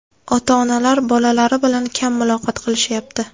Ota-onalar bolalari bilan kam muloqot qilishyapti.